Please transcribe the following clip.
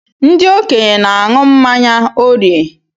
Ndị okenye n'añu mmanya órìè.